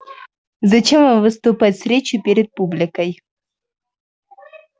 зачем вам выступать с речью перед публикой